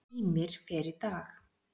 Ýmir fer í dag.